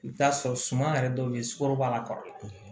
I bɛ t'a sɔrɔ suma yɛrɛ dɔw bɛ yen sukaro b'a la kɔrɔlen